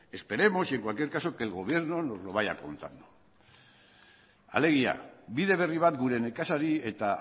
esperemos y en cualquier caso que el gobierno nos lo vaya contando alegia bide berri bat gure nekazari eta